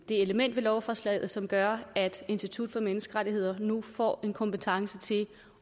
det element i lovforslaget som gør at institut for menneskerettigheder nu får en kompetence til